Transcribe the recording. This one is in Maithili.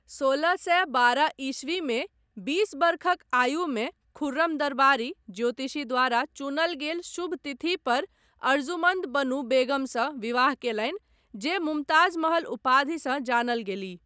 सोलह सए बारह ईस्वी मे बीस वर्षक आयुमे खुर्रम दरबारी ज्योतिषी द्वारा चुनल गेल शुभ तिथि पर अर्जुमन्द बनु बेगमसँ विवाह कयलनि जे मुमताज महल उपाधिसँ जानल गेलीह।